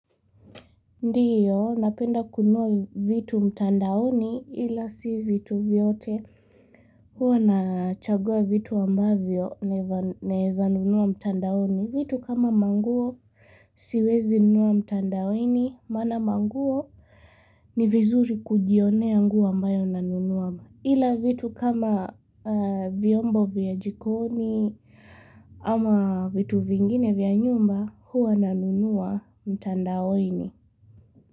Ndiyo, napenda kunua vitu mtandaoni ila si vitu vyote. Huwa nachagua vitu ambavyo naeza nunua mtandaoni. Vitu kama manguo siwezi nunua mtandaoni, mana manguo ni vizuri kujionea nguo ambayo nanunuwa. Ila vitu kama vyombo vya jikoni ama vitu vingine vya nyumba huwa nanunuwa mtandaoni.